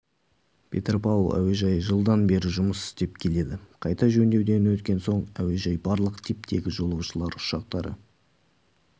петропавл әуежайы жылдан бері жұмыс істеп келеді қайта жөндеуден өткен соң әуежай барлық типтегі жолаушылар ұшақтары